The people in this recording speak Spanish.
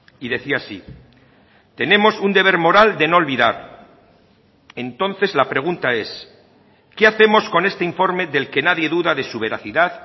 y decía así tenemos un deber moral de no olvidar entonces la pregunta es qué hacemos con este informe del que nadie duda de su veracidad